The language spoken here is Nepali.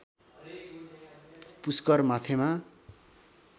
पुष्कर माथेमा